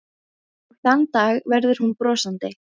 Og þann dag verður hún brosandi.